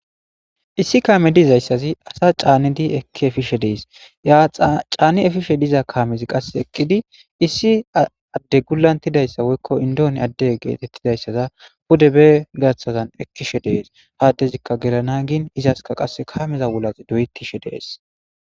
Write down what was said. issi kaame dizayssazi asa caanidi ekki efishe dees ya caani efishe diza kaamezi qase eqqidi issi adde gulantidayssa woykko indooni adde geetettidayssaza pude be gaththazan ekkishe dees ha addezikka gelana gin izaska qasse kaameza wulas doyettishe dees